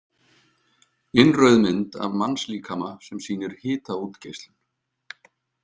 Innrauð mynd af mannslíkama sem sýnir hitaútgeislun.